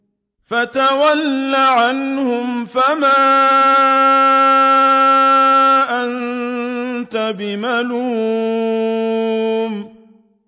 فَتَوَلَّ عَنْهُمْ فَمَا أَنتَ بِمَلُومٍ